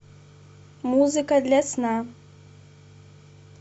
музыка для сна